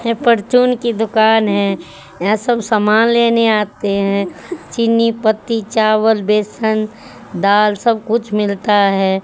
ये परचून की दुकान है या सब सामान लेने आते हैं चीनी पत्ती चावल बेसन दाल सब कुछ मिलता है।